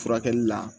Furakɛli la